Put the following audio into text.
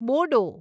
Bodo